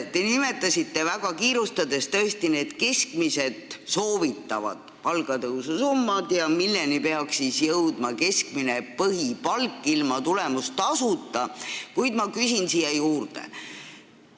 Te nimetasite – tõesti väga kiirustades – need keskmised soovitavad palgatõusu summad, milleni peaks jõudma keskmine põhipalk ilma tulemustasuta, kuid ma küsin siia juurde.